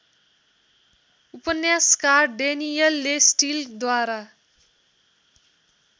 उपन्यासकार ड्यनिएल्ले स्टिलद्वारा